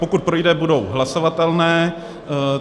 Pokud projde, budou hlasovatelné.